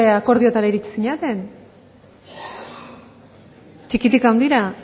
akordiotara iritsi zinaten txikitik handira